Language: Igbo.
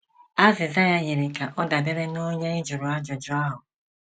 Azịza ya yiri ka ọ dabeere n’onye ị jụrụ ajụjụ ahụ.